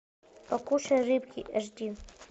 покушай рыбки аш ди